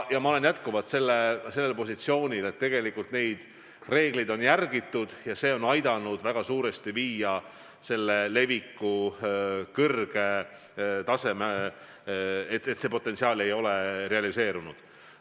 Ja ma olen jätkuvalt sellel positsioonil, et tegelikult neid reegleid on järgitud ja see on suurel määral aidanud kaasa sellele, et leviku kõrge potentsiaal ei ole realiseerunud.